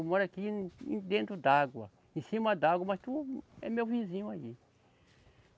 Eu moro aqui dentro d'água, em cima d'água, mas tu é meu vizinho aí.